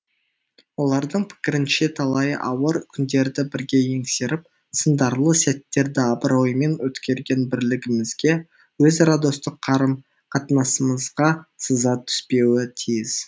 олардың пікірінше талай ауыр күндерді бірге еңсеріп сындарлы сәттерді абыроймен өткерген бірлігімізге өзара достық қарым қатынасымызға сызат түспеуі тиіс